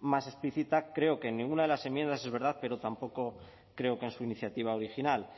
más explícita creo que en ninguna de las enmiendas es verdad pero tampoco creo que en su iniciativa original